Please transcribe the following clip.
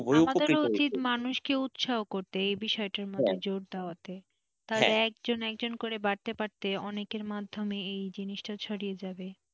আমাদেরও উচিত মানুষকে উৎসাহ করতে এই বিষয়টার মধ্যে জোর দেওয়াতে তারা একজন একজন করে বাড়াতে বাড়াতে অনেকের মাধ্যমে এই জিনিসটা ছড়িয়ে যাবে,